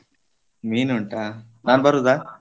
ಮೀನ್ ಉಂಟಾ ನಾನ್ ಬರುದಾ?